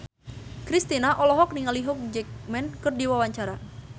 Kristina olohok ningali Hugh Jackman keur diwawancara